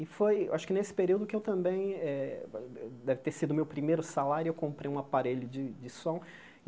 E foi, acho que nesse período que eu também eh, deve ter sido o meu primeiro salário, eu comprei um aparelho de de som.